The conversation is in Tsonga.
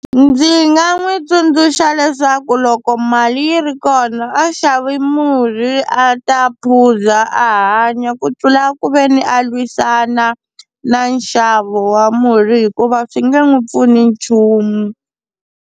Ndzi nga n'wi tsundzuxa leswaku loko mali yi ri kona a xavi murhi a ta phuza a hanya ku tlula ku veni a lwisana na nxavo wa murhi hikuva swi nge n'wi pfuni nchumu.